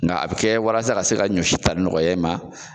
Nga a bi kɛ walasa ka se ka ɲɔsi tali nɔgɔya e ma